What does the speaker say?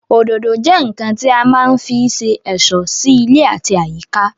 Òdòdó jẹ́ ǹǹkan tí a má ń fí se ẹ̀ṣọ́ sí ilé àti àyíká